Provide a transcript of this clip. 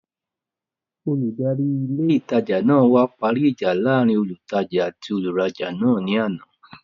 Olùdarí ilé ìtajà náà wá parí ìjà láàrin olùtajà àti olùrajà náà ní àná